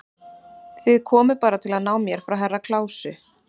Þið komuð bara til að ná mér frá Herra Kláusi.